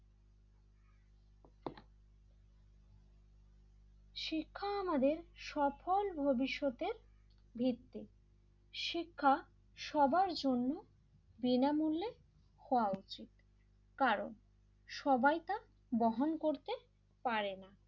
শিক্ষা আমাদের সফল ভবিষ্যতের ভিত্তি শিক্ষা সবার জন্য বিনামূল্যে হওয়া উচিত কারণ সবাই তা বহন করতে পারে না,